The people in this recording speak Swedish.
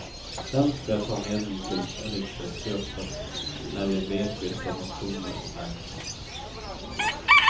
Dem ska jag ta med mig till riksdagsgruppen när vi vet vilka motioner som lagts.